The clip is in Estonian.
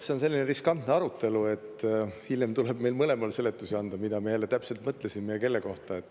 See on selline riskantne arutelu, hiljem tuleb meil mõlemal seletusi anda, mida me täpselt mõtlesime ja kelle kohta.